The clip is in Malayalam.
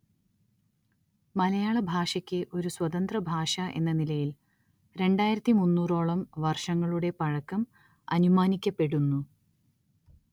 മലയാളഭാഷയ്ക്ക് ഒരു സ്വതന്ത്രഭാഷഎന്ന നിലയിൽ രണ്ടായിരത്തി മുന്നൂറ്‌ഓളം വർഷങ്ങളുടെ പഴക്കം അനുമാനിക്കപ്പെടുന്നു